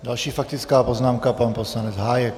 Další faktická poznámka - pan poslanec Hájek.